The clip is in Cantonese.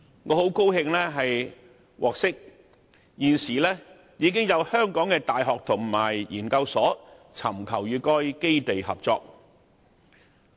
我很高興獲悉，現時已有香港的大學和研究所尋求與該基地合作。